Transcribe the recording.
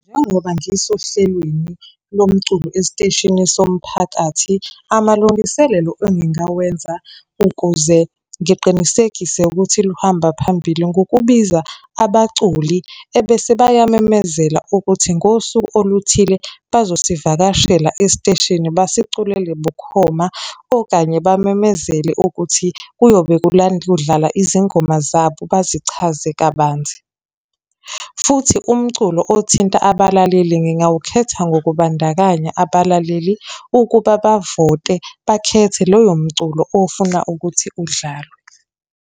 Njengoba ngisohlelweni lomculo esiteshini somphakathi, amalungiselelo engingawenza ukuze ngiqinisekise ukuthi luhamba phambili ngokubiza abaculi, ebese bayamemezela ukuthi ngosuku oluthile bazosivakashela esiteshini basiculele bukhoma. Okanye bamemezele ukuthi kuyobe kudlala izingoma zabo, bazichaze kabanzi. Futhi umculo othinta abalaleli ngingawukhetha ngokubandakanya abalaleli ukuba bavote bakhethe loyo mculo ofuna ukuthi udlalwe.